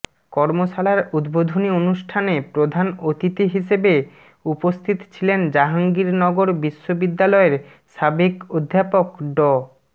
কর্মশালার উদ্বোধনী অনুষ্ঠানে প্রধান অতিথি হিসেবে উপস্থিত ছিলেন জাহাঙ্গীরনগর বিশ্ববিদ্যালয়ের সাবেক অধ্যাপক ড